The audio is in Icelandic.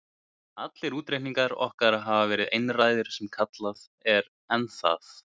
Allir útreikningar okkar hafa verið einræðir sem kallað er, en það